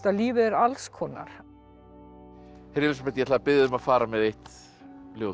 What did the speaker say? lífið er alls konar Elísabet ég ætla að biðja þig um að fara með eitt ljóð